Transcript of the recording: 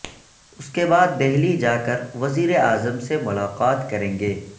اس کے بعد دہلی جا کر وزیر اعظم سے ملاقات کریں گے